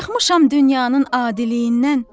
Çıxmışam dünyanın adiliyinədən.